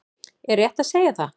Er rétt að segja það?